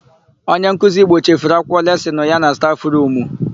Onyenkuzi Igbo chefuru akwụkwọ lesịnụ ya na stafụrumu.